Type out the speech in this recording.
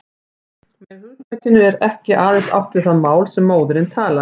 Með hugtakinu er ekki aðeins átt við það mál sem móðirin talar.